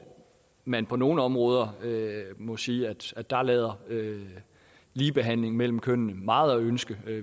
man på nogle områder må sige at der lader ligebehandling mellem kønnene meget tilbage at ønske